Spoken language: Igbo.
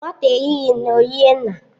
Nwata eyighi nne, ọ yịe nna